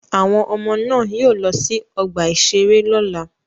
Àwọn ọmọ náà yóò lọ sí ọgbà-ìṣeré lọ́la.